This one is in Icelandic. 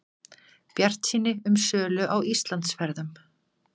Bjartsýni um sölu á Íslandsferðum